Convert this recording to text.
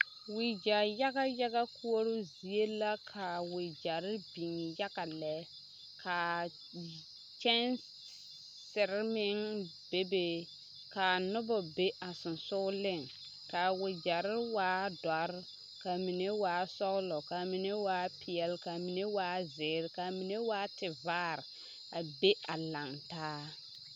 Wagyɛ yaga yaga koɔroo zie la ka wagyɛre biŋ yaga lɛ kaa kyɛnsiri meŋ bebe ka a noba be a sensogleŋ ka wagyɛre waa dɔre ka a mine waa sɔglɔ ka a mine waa peɛlle ka mine waa zeere ka a mine waa tevaare a be a laŋ taa.